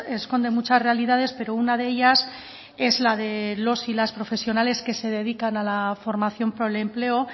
esconde muchas realidades pero una de ellas es la de los y las profesionales que se dedican a la formación por el empleo